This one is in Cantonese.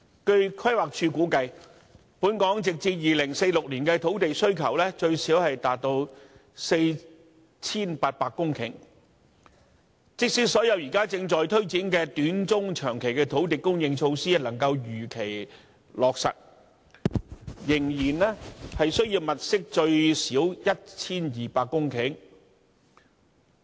據規劃署估計，本港直至2046年的土地需求最少達 4,800 公頃，即使所有現正推展的短、中、長期土地供應措施能夠如期落實，仍然需要物色最少 1,200 公頃土地。